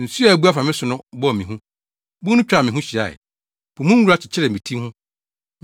Nsu a abu afa me so no bɔɔ me hu, bun no twaa me ho hyiae; po mu nwura kyekyeree me ti ho.